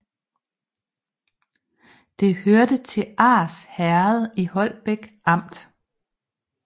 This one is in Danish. Det hørte til Ars Herred i Holbæk Amt